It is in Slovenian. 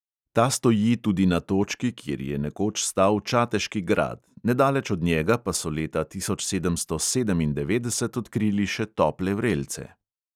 Ta stoji tudi na točki, kjer je nekoč stal čateški grad, nedaleč od njega pa so leta tisoč sedemsto sedemindevetdeset odkrili še tople vrelce.